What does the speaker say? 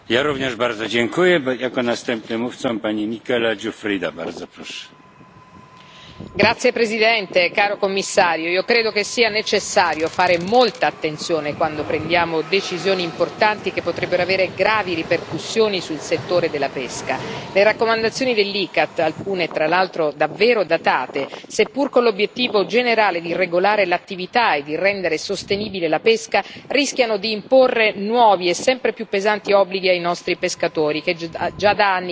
Signor Presidente, onorevoli colleghi, signor Commissario, io credo che sia necessario fare molta attenzione quando prendiamo decisioni importanti che potrebbero avere gravi ripercussioni sul settore della pesca. Le raccomandazioni dell'ICCAT, alcune tra l'altro davvero datate, seppur con l'obiettivo generale di regolare l'attività e di rendere sostenibile la pesca, rischiano di imporre nuovi e sempre più pesanti obblighi ai nostri pescatori, che già da anni vivono una profonda crisi.